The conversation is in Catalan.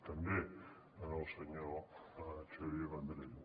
també al senyor xavier vendrell